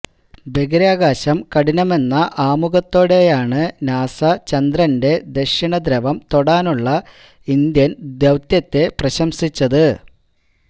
ബഹിരാകാശം കഠിനമെന്ന ആമുഖത്തോടെയാണ് നാസ ചന്ദ്രന്റെ ദക്ഷിണധ്രവം തൊടാനുള്ള ഇന്ത്യൻ ദൌത്യത്തെ പ്രശംസിച്ചത്